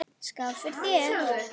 Skál fyrir þér.